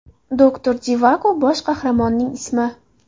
Doktor Jivago – bosh qahramonning ismi.